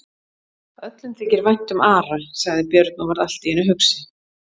Öllum þykir vænt um Ara, sagði Björn og varð allt í einu hugsi.